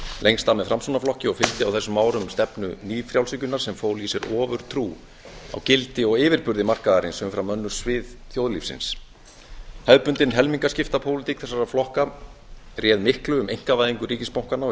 lengst af með framsóknarflokki og fylgdi á þessum árum stefnu nýfrjálshyggjunnar sem fól í sér ofurtrú á gildi og yfirburði markaðarins umfram önnur svið þjóðlífsins hefðbundin helmingaskiptapólitík þessara flokka réð miklu um einkavæðingu ríkisbankanna og í